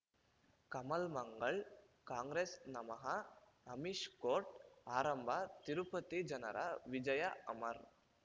ಕಮಲ್ ಮಂಗಳ್ ಕಾಂಗ್ರೆಸ್ ನಮಃ ಅಮಿಷ್ ಕೋರ್ಟ್ ಆರಂಭ ತಿರುಪತಿ ಜನರ ವಿಜಯ ಅಮರ್